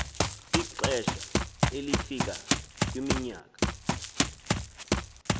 ixesha elifika kwiminyaka